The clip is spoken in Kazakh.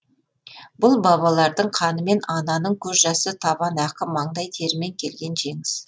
бұл бабалардың қанымен ананың көз жасы табан ақы маңдай терімен келген жеңіс